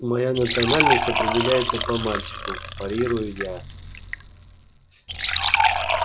моя национальность определяется по мальчику парирую я